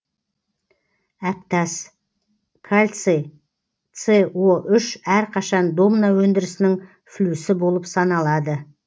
әктас кальций с о үш әрқашан домна өндірісінің флюсі болып саналады